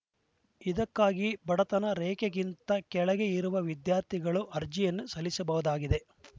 ಇದಕ್ಕಾಗಿ ಬಡತನ ರೇಖೆಗಿಂತ ಕೆಳಗೆ ಇರುವ ವಿದ್ಯಾರ್ಥಿಗಳು ಅರ್ಜಿಯನ್ನು ಸಲ್ಲಿಸಬಹುದಾಗಿದೆ